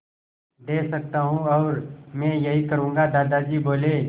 दे सकता हूँ और मैं यही करूँगा दादाजी बोले